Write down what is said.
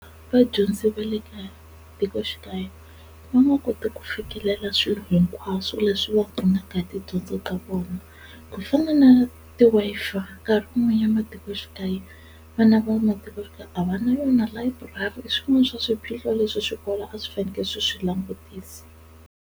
Vadyondzi va le matikoxikaya va nga koti ku fikelela swilo hinkwaswo leswi va pfunaka hi tidyondzo ka vona ku fana na ti-Wi-Fi, nkarhi wun'wanyana matikoxikaya vana va matikoxikaya a va na yona layiburari i swin'wana swa swiphiqo leswi swikolo a swi fanekele swi swi langutisa.